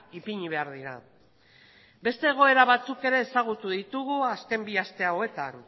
ipini behar dira beste egoera batzuk ere ezagutu ditugu azken bi aste hauetan